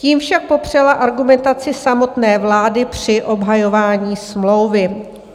Tím však popřela argumentaci samotné vlády při obhajování smlouvy.